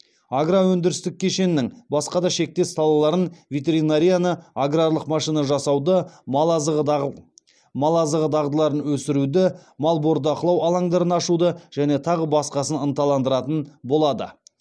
агро өндірістік кешеннің басқа да шектес салаларын ветеринарияны аграрлық машина жасауды мал азығы дағдыларын өсіруді мал бордақылау алаңдарын ашуды және тағы басқасын ынталандыратын болады